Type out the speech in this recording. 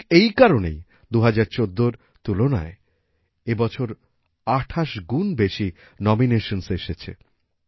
ঠিক এই কারণেই ২০১৪র তুলনায় এই বছর ২৮গুন বেশি নমিনেশনসহ এসেছে